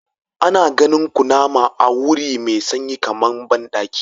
Ana ganin kunama a wuri mai sanyi kamar bandaki.